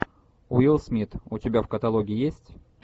уилл смит у тебя в каталоге есть